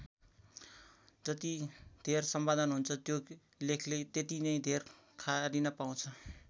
जति धेर सम्पादन हुन्छ त्यो लेखले त्यति नै धेर खारिन पाउँछ।